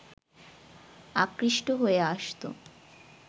আকৃষ্ট হয়ে আসতো